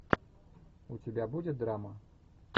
у тебя будет драма